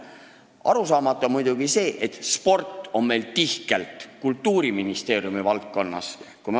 Arusaamatu on muidugi see, et sport on meil tihkelt Kultuuriministeeriumi valdkonnas.